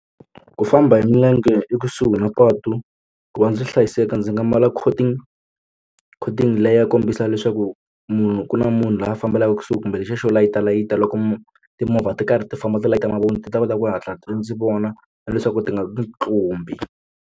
Ku famba hi milenge ekusuhi na patu ku va ndzi hlayiseka ndzi nga mbala coating coating leyi ya kombisaka leswaku munhu ku na munhu loyi a fambelaka kusuhi kumbe lexiya xo layita layita loko mo timovha ti karhi ti famba ti layita mavoni ti ta kota ku hatla ndzi vona na leswaku ti nga ndzi tlumbi.